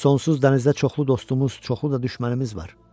Sonsuz dənizdə çoxlu dostumuz, çoxlu da düşmənimiz var.